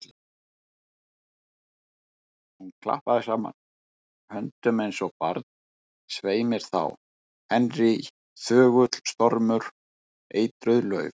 Hún klappaði saman höndum eins og barn: Svei mér þá, Henry, þögull stormur, eitruð lauf.